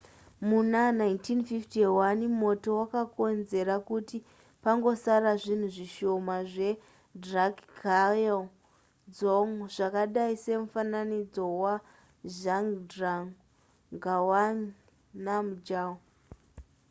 muna 1951 moto wakakonzera kuti pangosara zvinhu zvishoma zvedrukgyal dzong zvakadai semufananidzo wazhabdrung ngawang namgyal